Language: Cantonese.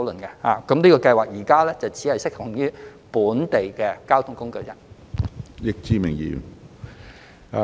現時二元優惠計劃只適用於本地公共交通工具。